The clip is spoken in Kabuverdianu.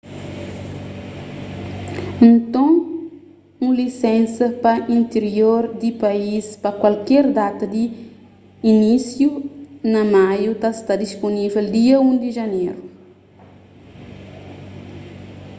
nton un lisénsa pa intirior di país pa kualker data di inísiu na maiu ta sta dispunível dia 1 di janeru